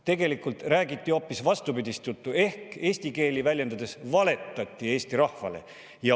Tegelikult räägiti hoopis vastupidist juttu ehk eesti keeli väljendades valetati Eesti rahvale.